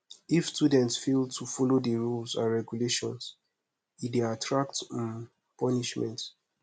if students fail to follow the rules and regulations e de attract um punishment